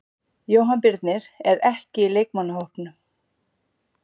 Jóhann Birnir er ekki í leikmannahópnum.